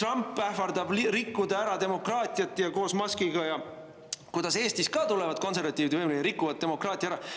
Trump ähvardab koos Muskiga rikkuda ära demokraatia ja kuidas Eestis tulevad konservatiivid võimule ja rikuvad demokraatia ära.